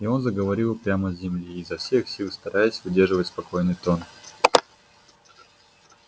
и он заговорил прямо с земли изо всех сил стараясь выдерживать спокойный тон